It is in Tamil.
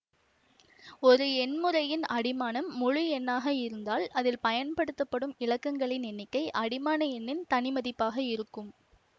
ஒரு எண் முறையின் அடிமானம் முழு எண்ணாக இருந்தால் அதில் பயன்படுத்தப்படும் இலக்கங்களின் எண்ணிக்கை அடிமான என்ணின் தனி மதிப்பாக இருக்கும்